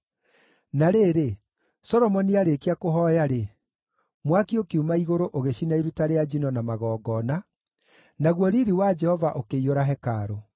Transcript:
Na rĩrĩ, Solomoni aarĩkia kũhooya-rĩ, mwaki ũkiuma igũrũ ũgĩcina iruta rĩa njino na magongona, naguo riiri wa Jehova ũkĩiyũra hekarũ.